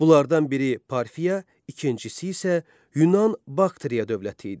Bunlardan biri Parfiya, ikincisi isə Yunan Bakteriya dövləti idi.